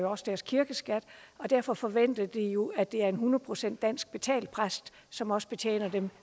også deres kirkeskat og derfor forventer de jo at det er en hundrede procent dansk betalt præst som også betjener dem